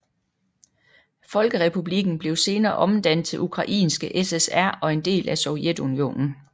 Folkerepublikken blev senere omdannet til Ukrainske SSR og en del af Sovjetunionen